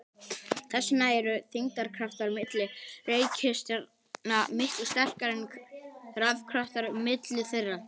Þess vegna eru þyngdarkraftar milli reikistjarna miklu sterkari en rafkraftar milli þeirra.